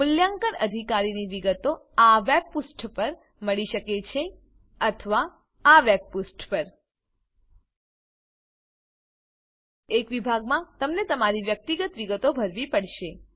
મૂલ્યાંકન અધિકારીની વિગતો આ વેબપુષ્ઠો પર મળી શકે છે wwwutiitslcomutitslsiteaoDetailsjsp અથવા wwwtin nsdlcompanpan aocodephp 1 વિભાગમાં તમને તમારી વ્યક્તિગત વિગતો ભરવી પડશે